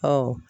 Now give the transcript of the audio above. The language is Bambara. Ɔ